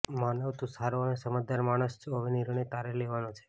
માનવ તું સારો અને સમજદાર માણસ છો હવે નીર્ણય તારે લેવાનો છે